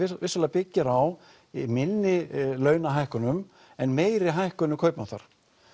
byggir á minni launahækkunum en meiri hækkunum kaupmáttar